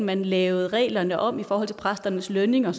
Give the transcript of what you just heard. man lavede reglerne om i forhold til præsternes lønninger